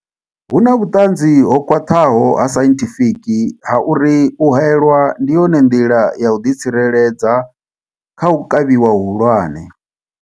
Hu na vhuṱanzi ho khwaṱhaho ha sainthifiki ha uri u haelwa ndi yone nḓila ya u ḓi tsireledza kha u kavhiwa hu hulwane.